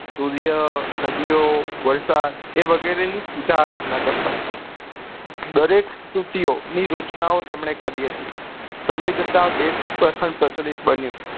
સૂર્ય નદીઓ વરસાદ એ વગેરે ની પૂજા આરાધના કરતા હતા દરેક ની રચનો ઓ તેમને કરી હતીં સમય જતા વેધ પણ પ્રચલિત બન્યું